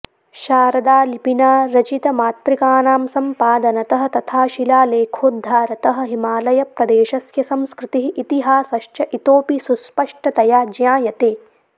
शारदालिपिना रचितमातृकानां सम्पादनतः तथा शिलालेखोद्धारतः हिमालयप्रदेशस्य संस्कृतिः इतिहासश्च इतोपि सुस्पष्टतया ज्ञायते